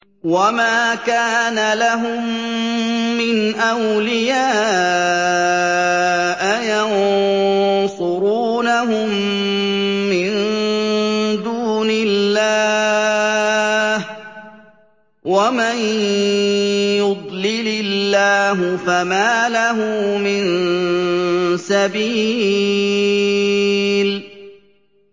وَمَا كَانَ لَهُم مِّنْ أَوْلِيَاءَ يَنصُرُونَهُم مِّن دُونِ اللَّهِ ۗ وَمَن يُضْلِلِ اللَّهُ فَمَا لَهُ مِن سَبِيلٍ